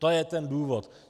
To je ten důvod.